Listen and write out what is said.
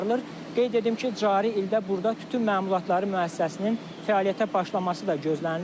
Qeyd edim ki, cari ildə burda tütün məmulatları müəssisəsinin fəaliyyətə başlaması da gözlənilir.